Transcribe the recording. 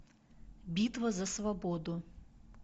битва за свободу